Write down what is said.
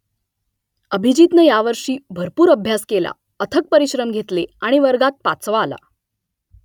अभिजीतनं यावर्षी भरपूर अभ्यास केला अथक परिश्रम घेतले आणि वर्गात पाचवा आला